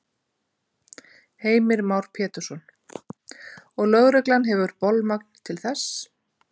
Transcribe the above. Heimir Már Pétursson: Og lögreglan hefur bolmagn til þess?